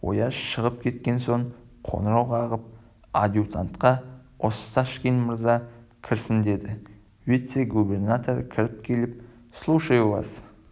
ояз шығып кеткен соң қоңырау қағып адъютантқа осташкин мырза кірсін деді вице-губернатор кіріп келіп слушаю вас